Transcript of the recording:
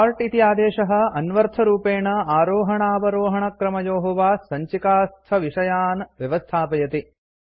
sort इति आदेशः अन्वर्थरूपेण आरोहणावरोहणक्रमयोः वा सञ्चिकास्थविषयान् व्यवस्थापयति